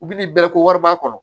U bi nin bɛɛ ko wari b'a kɔnɔ